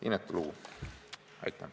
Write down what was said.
Inetu lugu!